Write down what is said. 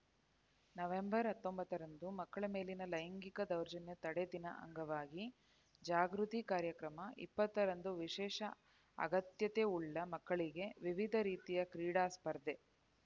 November ಹತ್ತೊಂಬತ್ತರಂದು ಮಕ್ಕಳ ಮೇಲಿನ ಲೈಂಗಿಕ ದೌರ್ಜನ್ಯ ತಡೆ ದಿನ ಅಂಗವಾಗಿ ಜಾಗೃತಿ ಕಾರ್ಯಕ್ರಮ ಇಪ್ಪತ್ತರಂದು ವಿಶೇಷ ಅಗತ್ಯತೆವುಳ್ಳ ಮಕ್ಕಳಿಗೆ ವಿವಿಧ ರೀತಿಯ ಕ್ರೀಡಾ ಸ್ಪರ್ಧೆ